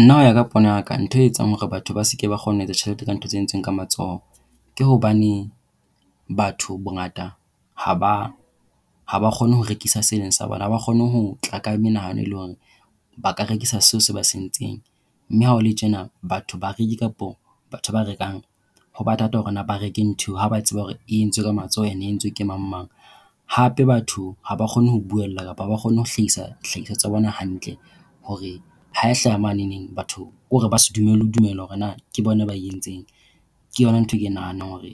Nna ho ya ka pono ya ka ntho e etsang hore batho ba se ke ba kgone ho etsa tjhelete ka ntho tse entsweng ka matsoho, ke hobane batho bongata haba haba kgone ho rekisa seo e leng sa bona. Ha ba kgone ho tla ka menahano, e leng hore ba ka rekisa seo se ba sentseng mme ha ho le tjena batho, bareki kapa batho ba rekang ho ba thata hore na ba reke ntho eo, ha ba tseba hore e entswe ka matsoho and entswe ke mang mang. Hape, batho ha ba kgone ho buella, kapa haba kgone ho hlahisa dihlahiswa tsa bona hantle hore ha e hlaha maneneng batho kore ba se dumele le ho dumela hore na ke bona ba e entseng. Ke yona nthwe e ke e nahanang hore